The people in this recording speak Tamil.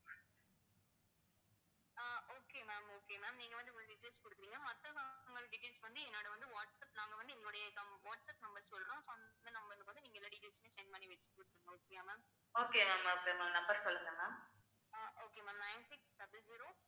ah okay ma'am nine six double zero